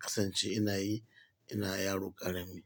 kasance ina yi, ina yaro ƙarami.